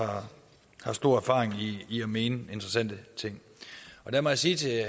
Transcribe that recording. har stor erfaring i at mene interessante ting og der må jeg sige til